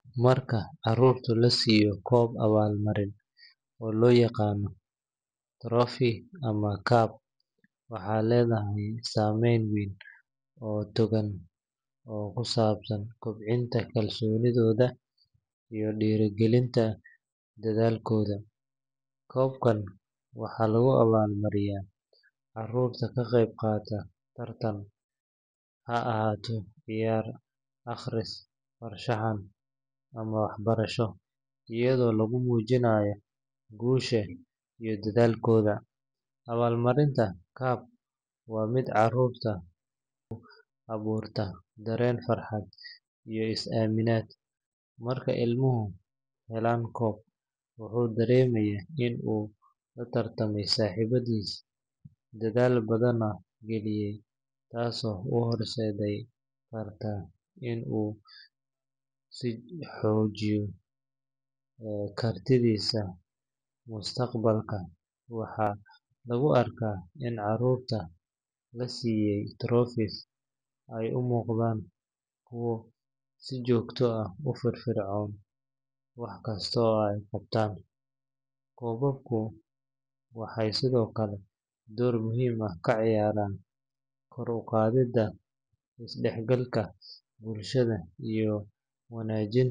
Marka carruurta la siiyo koob abaalmarin, oo loo yaqaan trophy ama cup, waxay leedahay saameyn weyn oo togan oo ku saabsan kobcinta kalsoonidooda iyo dhiirrigelinta dadaalkooda. Koobka waxaa lagu abaalmariyaa carruurta ka qayb qaata tartan, ha ahaado ciyaar, akhris, farshaxan, ama waxbarasho, iyadoo lagu muujinayo guusha iyo dadaalkooda. Abaalmarinta cup waa mid carruurta ku abuurta dareen farxad iyo is-aaminaad. Marka ilmuhu helo koob, wuxuu dareemayaa in uu la tartamay saaxiibbadiis, dadaal badanna geliyay, taasoo u horseedi karta in uu sii xoojiyo kartidiisa mustaqbalka. Waxaa lagu arkaa in carruurta la siiyay trophies ay u muuqdaan kuwo si joogto ah ugu firfircoon wax kasta oo ay qabtaan. Koobabku waxay sidoo kale door muhiim ah ka ciyaaraan kor u qaadidda isdhexgalka bulshada iyo wanaajinta